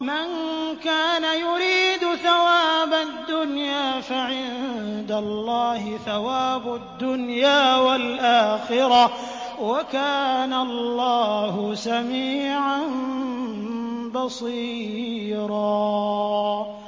مَّن كَانَ يُرِيدُ ثَوَابَ الدُّنْيَا فَعِندَ اللَّهِ ثَوَابُ الدُّنْيَا وَالْآخِرَةِ ۚ وَكَانَ اللَّهُ سَمِيعًا بَصِيرًا